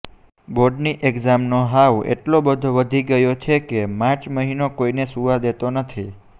બોર્ડની એક્ઝામનો હાઉ એટલો બધો વધી ગયો છે કે માર્ચ મહિનો કોઇને સૂવા દેતો નથી